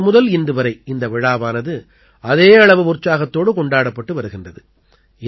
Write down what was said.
அப்போது முதல் இன்று வரை இந்த விழாவானது அதே அளவு உற்சாகத்தோடு கொண்டாடப்பட்டு வருகின்றது